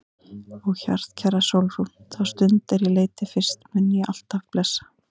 Ó hjartkæra Sólrún, þá stund er ég leit þig fyrst mun ég alt af blessa.